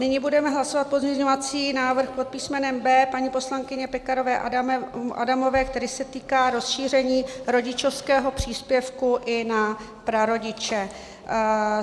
Nyní budeme hlasovat pozměňovací návrh pod písmenem B paní poslankyně Pekarové Adamové, který se týká rozšíření rodičovského příspěvku i na prarodiče.